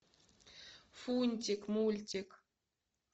фунтик мультик